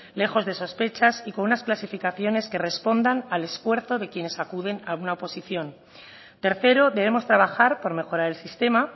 lejos de sospechas y con unas clasificaciones que respondan al esfuerzo de quienes acuden a una oposición tercero debemos trabajar por mejorar el sistema